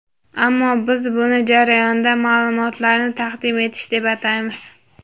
"Ammo biz buni "jarayonda ma’lumotlarni taqdim etish" deb ataymiz.